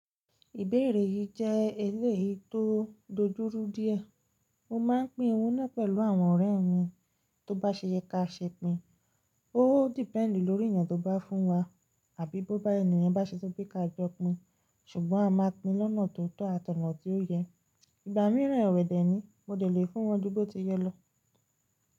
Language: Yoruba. Ìbéèrè yí jé èléyii tó dojúrú díẹ̀. Mo máa ń pín ohun náà pẹ̀lú àwọn ọ̀rẹ́ mi tó bá ṣe yẹ ká ṣe pín. Ó depend lórí èèyàn tó bá fún wa àbí bó bá, ènì yen bá ṣe sọ pé ká jọ pín, ṣùgbọ́n a máa pín in lọ́nà tó tọ́ àtọ̀nà tí ó yẹ. Ìgbà míràn ewẹ́ dẹ̀ ni mo lè fún wọn ju bó ti yẹ lọ.